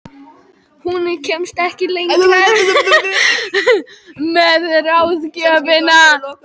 Hún kemst ekki lengra með ráðgjöfina.